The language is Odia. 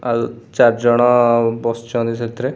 ଆଲ୍‌ --- ଚାରିଜଣ ବସିଛନ୍ତି ସେଥିରେ ।